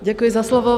Děkuji za slovo.